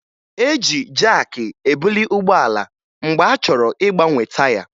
E ji jaakị ebuli ụgbọala mgbe a chọrọ ịgbanwe taya